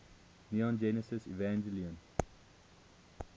neon genesis evangelion